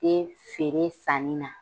E feere sanni na